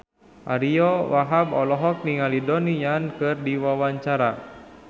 Ariyo Wahab olohok ningali Donnie Yan keur diwawancara